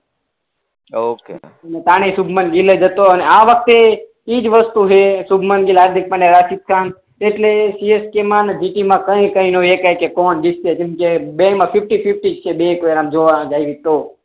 હા ઓકે સુભમાન ગીલ એટલે સીએસકે મા ને જીટી મા કઈ કઈ નું કહી શકાય કે કોણ જીતશે કેમકે બેય મા ફિફ્ટી ફિફ્ટી જ છે તો